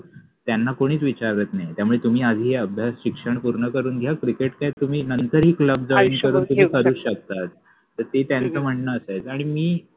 त्याना कोणिच विचारत नाहि त्यामुळे तुम्हि आधि अभ्यास आणि शिक्षण पुर्ण करुन घ्या क्रिकेट काय तुम्हि नंतर पन क्लब जॉईन करुन तुम्हि करुच शकता तर ते त्यांच म्हनन असायच आनि मि